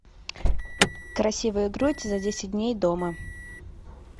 красивая грудь за десять дней дома